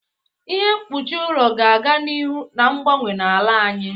Ihe mkpuchi ụlọ ga-aga n'ihu na-agbanwe n'ala anyị.